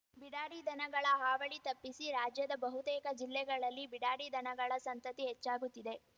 ಬಿಡಾಡಿ ದನಗಳ ಹಾವಳಿ ತಪ್ಪಿಸಿ ರಾಜ್ಯದ ಬಹುತೇಕ ಜಿಲ್ಲೆಗಳಲ್ಲಿ ಬಿಡಾಡಿ ದನಗಳ ಸಂತತಿ ಹೆಚ್ಚಾಗುತ್ತಿದೆ